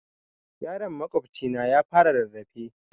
Yaron makwabcina ya fara rarrafe